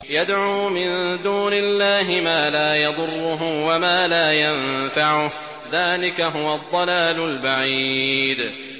يَدْعُو مِن دُونِ اللَّهِ مَا لَا يَضُرُّهُ وَمَا لَا يَنفَعُهُ ۚ ذَٰلِكَ هُوَ الضَّلَالُ الْبَعِيدُ